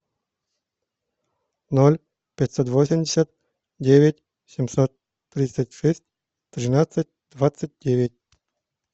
ноль пятьсот восемьдесят девять семьсот тридцать шесть тринадцать двадцать девять